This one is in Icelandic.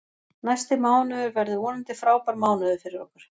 Næsti mánuður verður vonandi frábær mánuður fyrir okkur.